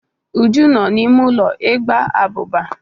Uju nọ n'ime ulo ịgba abuba.